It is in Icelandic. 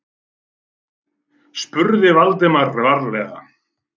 spurði Valdimar varlega.